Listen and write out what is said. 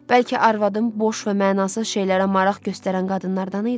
Bəlkə arvadım boş və mənasız şeylərə maraq göstərən qadınlardan idi?